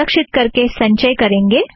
सुरक्षीत करके संचय करेंगे